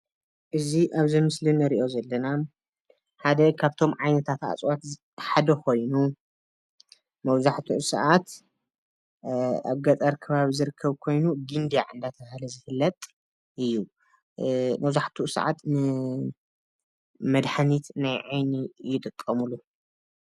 እዚ ኣብ ዚ ምስሊ ንሪኦ ዝለና ሓደ ከፍቶ ዓይነታት ኣፅዋት ሓደ ኾይኑ መብዛሓትኡ ስዓት ኣብ ገጠር ከባቢ ዝርከብ ኮይኑ ግንዳዕ እደተበሀለ ዝፍለጥ እዩ ።መብዛሓቲኡ ሰዓት ንመድሓንቲ ናይ ዓይኒ ይጥቀምሉ።